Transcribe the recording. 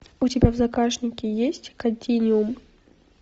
у тебя в загашнике есть континуум